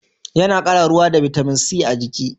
Ya na kara ruwa da bitamin c a jiki